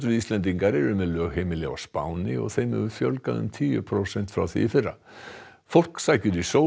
Íslendingar eru með lögheimili á Spáni og þeim hefur fjölgað um tíu prósent frá því í fyrra fólk sækir í sól